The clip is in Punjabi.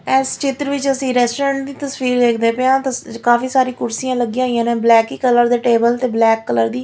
ਐਸ ਚਿਤਰ ਵਿੱਚ ਅਸੀਂ ਰੈਸਟੋਰੈਂਟ ਦੀ ਤਸਵੀਰ ਦੇਖਦੇ ਪਏ ਆ ਤ ਕਾਫੀ ਸਾਰੀ ਕੁਰਸੀਆਂ ਲੱਗੀਆਂ ਹੋਈਆਂ ਨੇ ਬਲੈਕ ਹੀ ਕਲਰ ਦੇ ਟੇਬਲ ਤੇ ਬਲੈਕ ਕਲਰ ਦੀ--